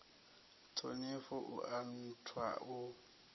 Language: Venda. ṱhonifho u a nthwa u